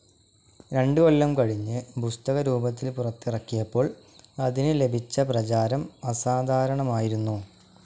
രണ്ട് കൊല്ലം കഴിഞ്ഞ് പുസ്തകരൂപത്തിൽ പുറത്തിറക്കിയപ്പോൾ അതിന് ലഭിച്ച പ്രചാരം അസാധാരണമായിരുന്നു.